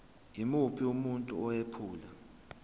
yimuphi umuntu owephula